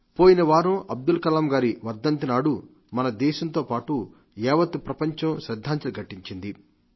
పోయినవారం అబ్దుల్ కలాం గారి వర్ధంతి నాడు మన దేశంతో పాటు యావత్ ప్రపంచం శ్రద్ధాంజలి ఘటించింది